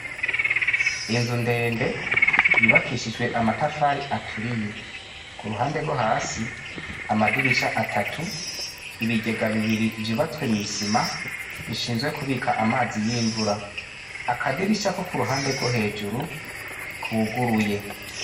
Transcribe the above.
Inzu ndende yubakishijwe amatafari aturiye ,ku ruhande rwo hasi, amadirisha atatu, ibigega bibiri vyubatswe mw'isima bishinzwe kubika amazi y'imvura ,akadirisha ko kuruhande rwo hejuru kuguruye.